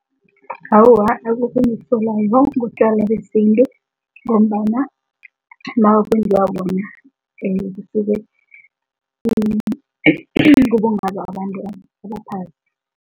Awa, akukho engikusolako ngobutjwala besintu ngombana babantu